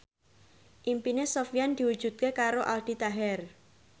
impine Sofyan diwujudke karo Aldi Taher